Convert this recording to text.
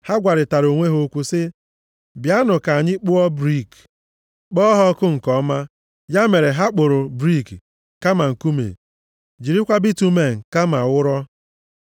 Ha gwarịtara onwe ha okwu sị, “Bịanụ ka anyị kpụọ brik, + 11:3 Maọbụ, Aja ụrọ kpọọ ha ọkụ nke ọma.” Ya mere, ha kpụrụ brik kama nkume, jirikwa bitumen kama ụrọ.